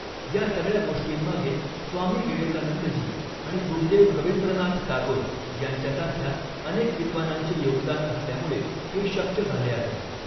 या सगळ्या गोष्टींमागे स्वामी विवेकानंदजी आणि गुरुदेव रवींद्रनाथ टागोर यांच्यासारख्या अनेक विद्वानांचे योगदान असल्यामुळे हे शक्य झाले आहे.